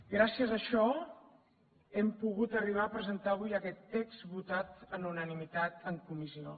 gràcies a això hem pogut arribar a presentar avui aquest text votat per unanimitat en comissió